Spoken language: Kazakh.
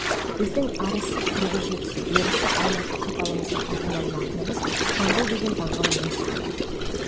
біздің арысы қырғыз жетісу берісі алматы қапалымызға аты мәлім ақынымыз жамбыл деген даңғылың осы болады